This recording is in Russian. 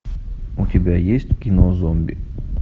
у тебя есть кино зомби